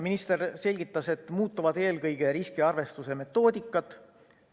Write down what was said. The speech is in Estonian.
Minister selgitas, et muutuvad eelkõige riskiarvestuse metoodikad.